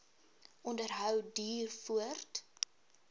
onderhou duur voort